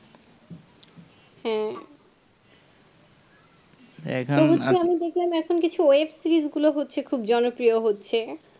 হ্যাঁ তবু যে আমি এখন দেখলাম যে web-series গুলো হচ্ছে গুলো খুব জনপ্রিয় হচ্ছে